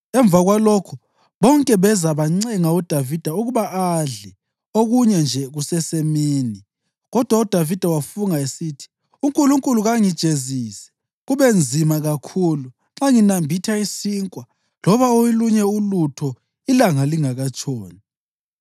Emva kwalokho bonke beza bancenga uDavida ukuba adle okunye nje kusesemini; kodwa uDavida wafunga esithi, “UNkulunkulu kangijezise, kube nzima kakhulu, nxa nginambitha isinkwa loba olunye ulutho ilanga lingakatshoni!”